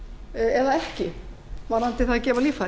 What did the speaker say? eða ekki varðandi það að gefa líffæri